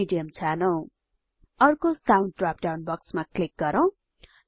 medium छानौं अर्को sound drop down बक्समा क्लिक गरौँ